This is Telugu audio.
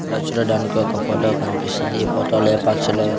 ఇక్కడ చూడడానికి ఒక ఫోటో కన్పిస్తుంది ఈ ఫోటో లేపాక్షిలో--